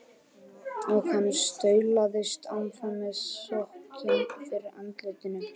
Og hann staulaðist áfram með sokkinn fyrir andlitinu.